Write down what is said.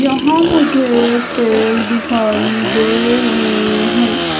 यहां मुझे पेड़ दिखाई दे रहे हैं।